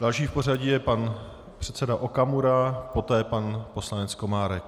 Další v pořadí je pan předseda Okamura, poté pan poslanec Komárek.